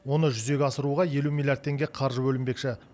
оны жүзеге асыруға елу миллиард теңге қаржы бөлінбекші